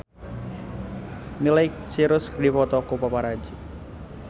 Miley Cyrus dipoto ku paparazi